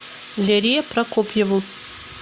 лере прокопьеву